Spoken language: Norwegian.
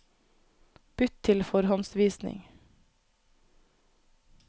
Bytt til forhåndsvisning